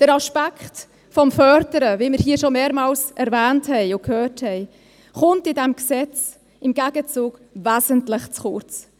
Der Aspekt des Förderns, wie wir hier schon mehrmals erwähnten und hörten, kommt in diesem Gesetz im Gegenzug wesentlich zu kurz.